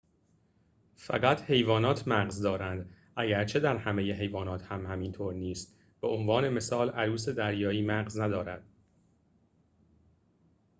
فقط حیوانات مغز دارند اگرچه در همه حیوانات هم اینطور نیست؛ به عنوان مثال عروس دریایی مغز ندارد